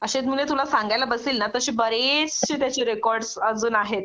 अशेच म्हंजे तुला सांगायला बसेल ना तर अशे बरेचशे त्याचे रेकॉर्ड अजून आहेत